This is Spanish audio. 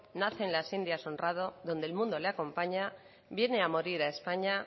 nace en las indias honrado donde el mundo le acompaña viene a morir a españa